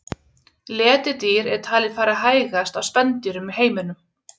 Letidýr er talið fara hægast af spendýrum í heiminum.